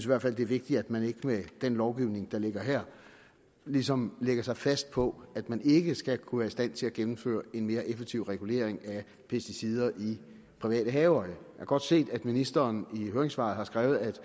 hvert fald det er vigtigt at man ikke med den lovgivning der ligger her ligesom lægger sig fast på at man ikke skal kunne være i stand til at gennemføre en mere effektiv regulering af pesticider i private haver jeg kan godt se at ministeren i høringssvaret har skrevet at